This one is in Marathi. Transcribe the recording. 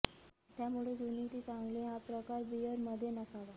त्यामुळे जुनी ती चांगली हा प्रकार बिअर मध्ये नसावा